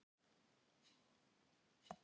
Við ætlum að fá tvo latte og eina kökusneið.